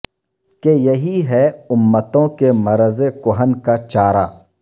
کہ یہی ہے امتوں کے مرض کہن کا چارہ